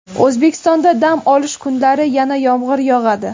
O‘zbekistonda dam olish kunlari yana yomg‘ir yog‘adi.